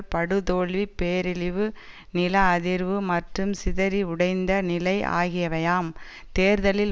படுதோல்வி பேரிழிவு நில அதிர்வு மற்றும் சிதறி உடைந்த நிலை ஆகியவையாம் தேர்தலில்